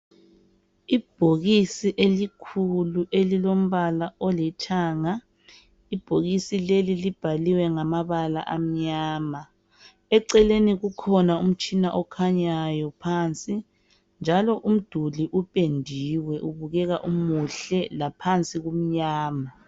Ibhokisi elikhulu elilombala olithanga lelibhokisi libhalwe ngamabala amnyama njalo umduli upendiwe ubukeka umuhle laphansi kumnyama .